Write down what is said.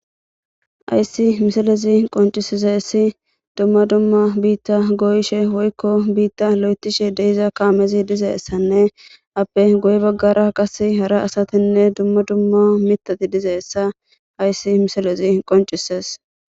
Hayssi misalezi qoncisiseessi dumma dumma biitta goyishe woykko biitta lo7etishe deiza kaamezi dizeessanne appe goye baggara qase hara asatinne dumma dumma mitati dizeessa ayssi misalezi qoncises.